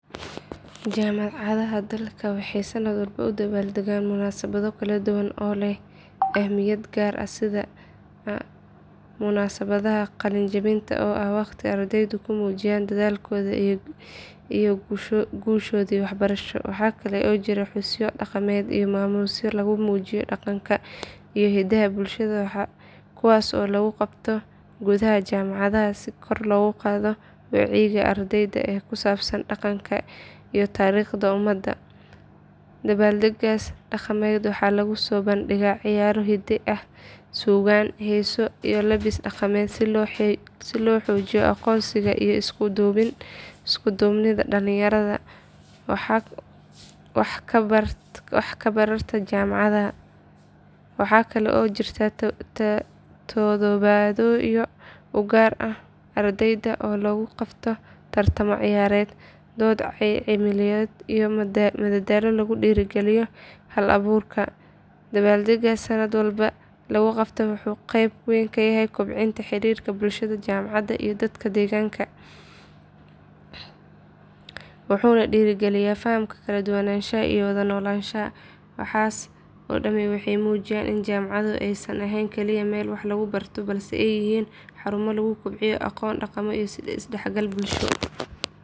Jaamacadaha dalka waxay sanad walba u dabaaldegaan munaasabado kala duwan oo leh ahmiyad gaar ah sida munaasabadda qalinjebinta oo ah waqti ardaydu ku muujiyaan dadaalkoodii iyo guushoodii waxbarasho. Waxaa kale oo jira xusyo dhaqameed iyo maamuusyo lagu muujiyo dhaqanka iyo hiddaha bulshada kuwaas oo lagu qabto gudaha jaamacadaha si kor loogu qaado wacyiga ardayda ee ku saabsan dhaqanka iyo taariikhda ummadda. Dabbaaldeggaas dhaqameed waxaa lagu soo bandhigaa ciyaaro hidde ah, suugaan, heeso, iyo labbis dhaqameed si loo xoojiyo aqoonsiga iyo isku duubnida dhalinyarada wax ka barata jaamacadaha. Waxaa kale oo jira toddobaadyo u gaar ah ardayda oo lagu qabto tartamo ciyaareed, dood cilmiyeedyo iyo madallo lagu dhiirrigeliyo hal-abuurka. Dabbaaldeggaas sanad walba la qabto wuxuu qeyb ka yahay kobcinta xiriirka bulshada jaamacadda iyo dadka deegaanka, wuxuuna dhiirrigeliyaa fahamka kala duwanaanshaha iyo wada noolaanshaha. Waxaas oo dhami waxay muujinayaan in jaamacaduhu aysan ahayn kaliya meel wax lagu barto balse ay yihiin xarumo lagu kobciyo aqoon, dhaqamo iyo is dhexgal bulsho.